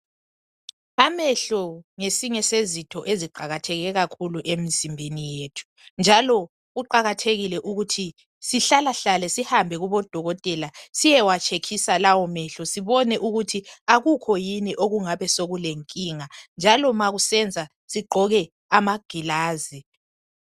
Amehlo ngesinye sezitho eziqakatheke kakhulu emzimbeni yethu, njalo kuqakathekile ukuthi sihlalahlale sihambe kubodokotela siyewatshekhisa lawo mehlo sibone ukuthi akukho yini okungabe sokulenkinga, njalo ma kusenza, sigqoke amagilazi.